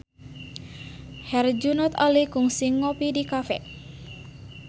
Herjunot Ali kungsi ngopi di cafe